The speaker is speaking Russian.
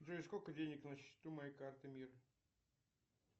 джой сколько денег на счету моей карты мир